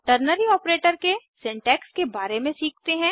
ternary operator के syntax के बारे में सीखते हैं